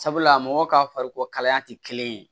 Sabula mɔgɔ ka farikolo kalaya tɛ kelen ye